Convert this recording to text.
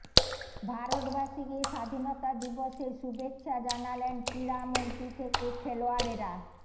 ভারতবাসীকে স্বাধীনতা দিবসের শুভেচ্ছা জানালেন ক্রীড়া মন্ত্রী থেকে খেলোয়াড়েরা